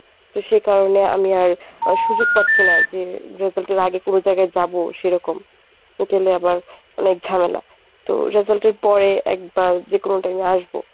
তো সেকারণে আমি আর সুযোগ পাচ্ছি না যে result এর আগে কোনো জায়গায় যাবো সেরকম আহ গেলে আবার অনেক ঝামেলা তো result এর পরে একবার যে কোন time এ আসব